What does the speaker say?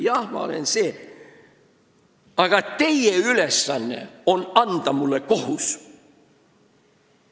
Jah, ma olen see või teine, aga teie ülesanne on anda mulle kohus.